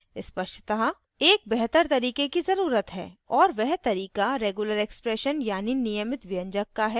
स्पष्टतः एक बेहतर तरीके की ज़रुरत है और वह तरीका regular expressions यानि नियमित व्यंजक का है